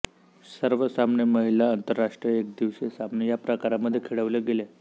सर्व सामने महिला आंतरराष्ट्रीय एकदिवसीय सामने या प्रकारामध्ये खेळवले गेले